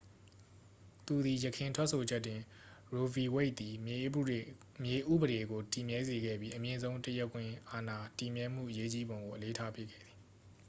သူသည် ယခင်ထွက်ဆိုချက်တွင် ရိုးဗီဝိတ်သည် မြေဥပဒေကို တည်မြဲစေခဲ့ပြီး အမြင့်ဆုံးတရားခွင်အာဏာ တည်မြဲမှုအရေးကြီးပုံကို အလေးထားပေးခဲ့သည်